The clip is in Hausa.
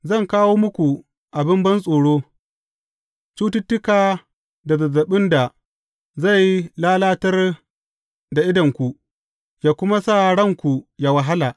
Zan kawo muku abin bantsoro, cututtuka da zazzaɓin da zai lalatar da idonku, yă kuma sa ranku a wahala.